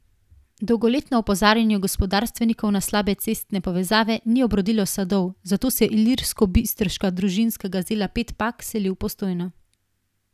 Dolgoletno opozarjanje gospodarstvenikov na slabe cestne povezave ni obrodilo sadov, zato se ilirskobistriška družinska gazela Pet Pak seli v Postojno.